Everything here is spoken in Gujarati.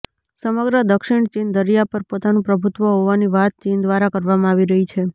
સમગ્ર દક્ષિણ ચીન દરિયા પર પોતાનું પ્રભુત્વ હોવાની વાત ચીન દ્વારા કરવામાં આવી રહી છે